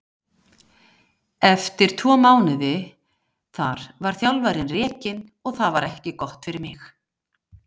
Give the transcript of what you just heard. Eftir tvo mánuði þar var þjálfarinn rekinn og það var ekki gott fyrir mig.